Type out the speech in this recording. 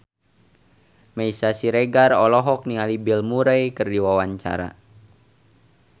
Meisya Siregar olohok ningali Bill Murray keur diwawancara